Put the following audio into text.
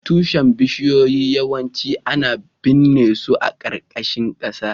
Tushen bishiyoyi yawanci ana binne su a ƙarƙashin ƙasa